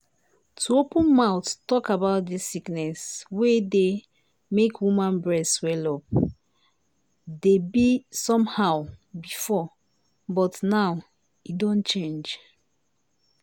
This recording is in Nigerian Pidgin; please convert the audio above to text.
to open mouth talk about dis sickness wey dey make woman breast swell-up dey be somehow before but now e don change.